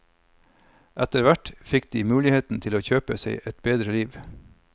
Etterhvert fikk de muligheten til å kjøpe seg et bedre liv.